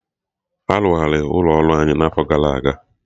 Arụgharị ụlọ ọrụ anyị n'afọ gara aga